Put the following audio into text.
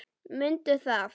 Mundu það.